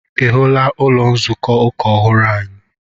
Ị hụla ụlọ nzukọ ụka ọhụrụ anyị?